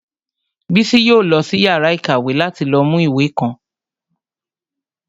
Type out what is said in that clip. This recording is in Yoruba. Bísí yóò lọ sí yàrá ìkàwé láti lọ mú ìwé kan